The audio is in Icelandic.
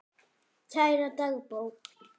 Kæra dagbók!